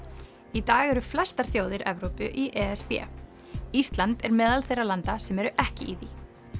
í dag eru flestar þjóðir Evrópu í e s b ísland er meðal þeirra landa sem eru ekki í því